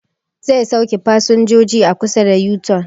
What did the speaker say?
Zai sauke fasinjoji a kusa da yu-tun